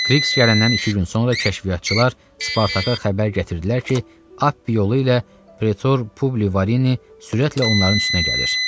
Kriks gələndən iki gün sonra kəşfiyyatçılar Spartaka xəbər gətirdilər ki, Ap yolu ilə Pretor Publivareni sürətlə onların üstünə gəlir.